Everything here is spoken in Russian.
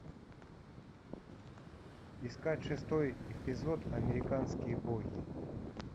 искать шестой эпизод американские боги